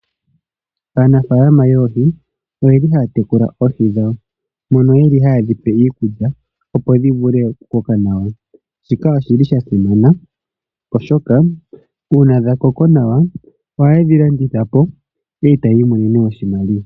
Aanafalama yoohi oyeli haya tekula oohi dhawo, moka yeli haye dhipe iikulya, opo dhi vule oku koka nawa, shika oshili sha simana, oshoka uuna dha koko nawa, oha yedhi landithapo, etaya iimonene oshimaliwa.